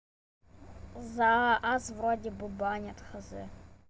за аз вроде бы банят незнаю